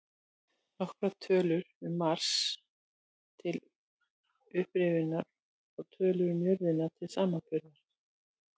Nokkrar tölur um Mars, til upprifjunar, og tölur um jörðina til samanburðar: